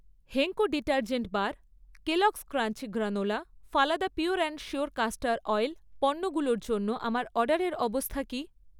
Henko detergent bar, Kellogg's crunchy granola, Phalada pure and sure castor oil পণ্যগুলোর জন্য আমার অর্ডারের অবস্থা কী?